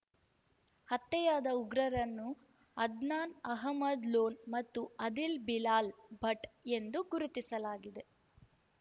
ಹತ್ಯೆಯಾದ ಉಗ್ರರನ್ನು ಅದ್ನಾನ್‌ ಅಹಮದ್‌ ಲೋನ್‌ ಮತ್ತು ಆದಿಲ್‌ ಬಿಲಾಲ್‌ ಭಟ್‌ ಎಂದು ಗುರುತಿಸಲಾಗಿದೆ